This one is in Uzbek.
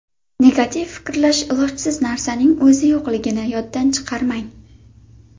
Negativ fikrlash Ilojsiz narsaning o‘zi yo‘qligini yoddan chiqarmang.